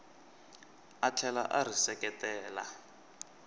a tlhela a ri seketela